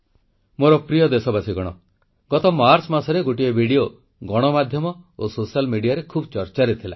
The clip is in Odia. ମୋର ପ୍ରିୟ ଦେଶବାସୀ ଗତ ମାର୍ଚ୍ଚ ମାସରେ ଗୋଟିଏ ଭିଡ଼ିଓ ଗଣମାଧ୍ୟମ ଓ ସୋସିଆଲ ମିଡିଆରେ ଖୁବ୍ ଚର୍ଚ୍ଚାରେ ଥିଲା